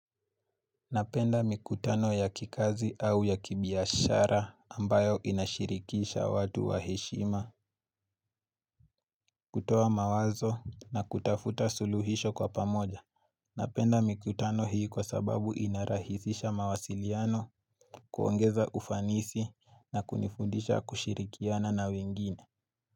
Napenda mikutano ya kikazi au ya kibiashara ambayo inashirikisha watu waheshima kutoa mawazo na kutafuta suluhisho kwa pamoja. Napenda mikutano hii kwa sababu inarahisisha mawasiliano kuongeza ufanisi na kunifundisha kushirikiana na wengine.